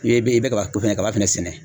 N'e be e be kaba kaba fɛnɛ sɛnɛ